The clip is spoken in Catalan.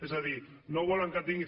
és a dir no volen que tinguin